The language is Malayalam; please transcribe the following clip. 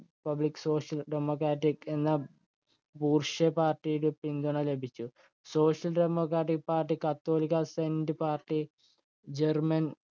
republic social dremocratic എന്നാ boor‍sha party യുടെ പിന്തുണ ലഭിച്ചു. social democratic party, catholic center party, german